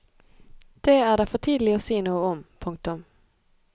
Det er det for tidlig å si noe om. punktum